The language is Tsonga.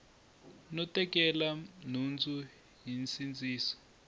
no tekela nhundzu hi nsindziso